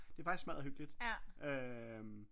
Det er faktisk smadder hyggeligt øh